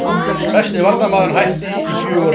Besti varnarmaðurinn hætti í fjögur ár